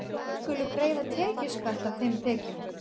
Þeir skulu greiða tekjuskatt af þeim tekjum.